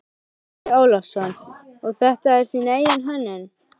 Andri Ólafsson: Og þetta er þín eigin hönnun?